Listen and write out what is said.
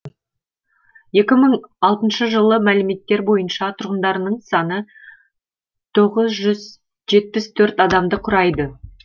екі мың алтыншы жылғы мәліметтер бойынша тұрғындарының саны тоғыз жүз жетпіс төрт адамды құрайды